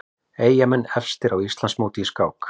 Eyjamenn efstir á Íslandsmóti í skák